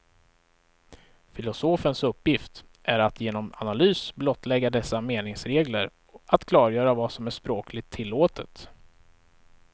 Filosofens uppgift är att genom analys blottlägga dessa meningsregler, att klargöra vad som är språkligt tillåtet.